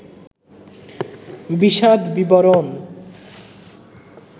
বিশদ বিবরণ